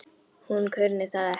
Hún kunni það ekki.